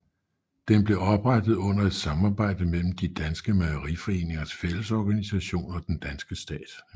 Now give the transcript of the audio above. Den blev oprettet under et samarbejde mellem De Danske mejeriforeningers fællesorganisation og den danske stat